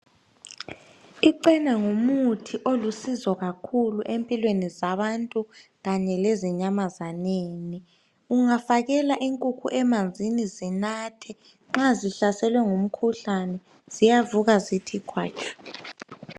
Ichena ngumuthi olisizo kakhulu empilweni zabantu kanye lezi nyamazaneni. Ungafakela inkukhu emanzini zinathe nxa zihlaselwe ngumkhuhlane ziyavuka zithi khwatshu.